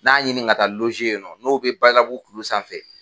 N'a ɲini ka taa ye nɔ n'o bɛ Badalabugu kulu sanfɛ.